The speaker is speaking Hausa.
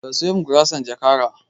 Ka sayo min gurasar jakara